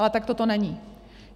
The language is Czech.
Ale takto to není.